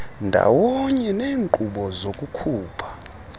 ndawonye neenkqubo zokukhupha